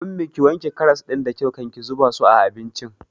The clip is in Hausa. Ummi, ki wanke karas ɗin da kyau kan ki zuba su a abincin!